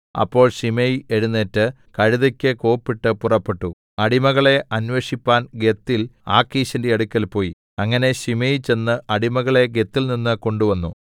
അപ്പോൾ ശിമെയി എഴുന്നേറ്റ് കഴുതെക്ക് കോപ്പിട്ട് പുറപ്പെട്ടു അടിമകളെ അന്വേഷിപ്പാൻ ഗത്തിൽ ആഖീശിന്റെ അടുക്കൽ പോയി അങ്ങനെ ശിമെയി ചെന്ന് അടിമകളെ ഗത്തിൽനിന്ന് കൊണ്ടുവന്നു